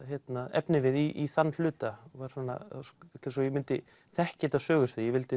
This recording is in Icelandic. efnivið í þann hluta svo ég mundi þekkja þetta sögusvið ég vildi